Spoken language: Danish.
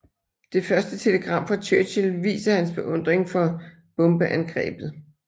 Det første telegram fra Churchill viser hans beundring for bombeangrebet